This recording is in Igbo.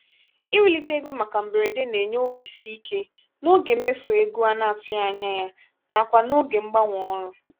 iwulite ego màkà mberede na-enye obisike n'oge mmefu ego ana-atụghị anya na-kwa n'oge mgbanwe ọrụ.